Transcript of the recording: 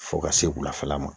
Fo ka se wulafɛla ma